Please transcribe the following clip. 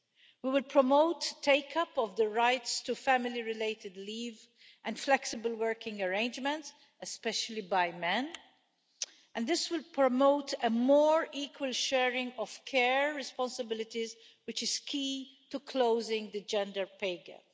We will promote take up of the rights to family related leave and flexible working arrangements, especially by men, and this will promote a more equal sharing of care responsibilities which is key to closing the gender pay gap.